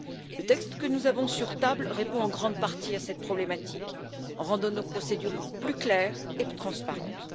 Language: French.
Le texte que nous avons sur la table répond en grande partie à cette problématique en rendant nos procédures plus claires et plus transparentes.